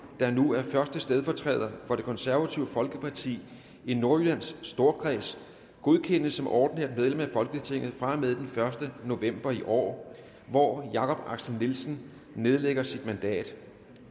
der nu er første stedfortræder for det konservative folkeparti i nordjylland storkreds godkendes som ordinært medlem af folketinget fra og med den første november i år hvor jakob axel nielsen nedlægger sit mandat